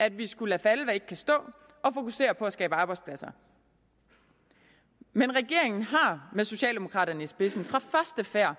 at vi skulle lade falde hvad ikke kan stå og fokusere på at skabe arbejdspladser men regeringen har med socialdemokraterne i spidsen fra første færd